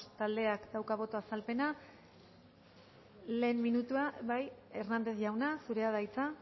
taldeak dauka boto azalpena lehen minutua bai hernández jauna zurea da hitza